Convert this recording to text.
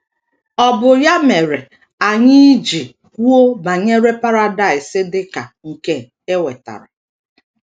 Ọ bụ ya mere anyị iji kwuo banyere Paradaịs dị ka nke e wetara.